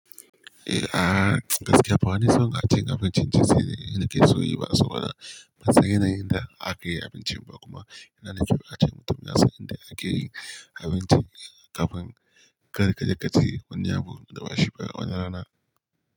Eh, gaskiya bawani son cin abincin Chinese ne nake so nayi ba saboda ban san yanayin da aka yi abincin ba kuma yana da kyau a ce mutum ya san inda ake yin abinci kafin kar ka je ka ci wani abu da bashi ba a wani rana.